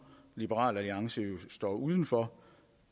liberal alliance jo står uden for